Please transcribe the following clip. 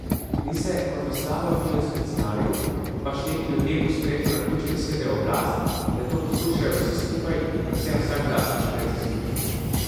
Zdi se kot v slabem filmskem scenariju, ko pač neki ljudje po spletu naključij zasedejo oblast in nato poskušajo vsi skupaj in predvsem vsak zase čim več zaslužiti.